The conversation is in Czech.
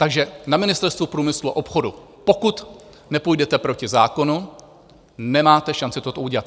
Takže na Ministerstvu průmyslu a obchodu, pokud nepůjdete proti zákonu, nemáte šanci toto udělat.